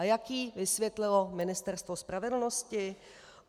A jak jí vysvětlilo Ministerstvo spravedlnosti?